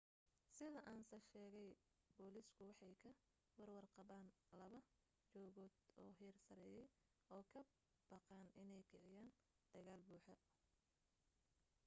sida ansa sheegay booliisku waxay ka warwar qabeen laba jugood oo heer sareeyay oo ka baqeen inay kiciyaan dagaal buuxa